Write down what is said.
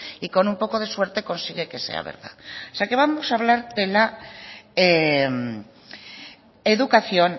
y con un poco de suerte consigue que sea verdad o sea que vamos a hablar de la educación